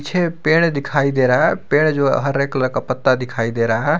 छे पेड़ दिखाई दे रहा है पेड़ जो हरे कलर का पत्ता दिखाई दे रहा है।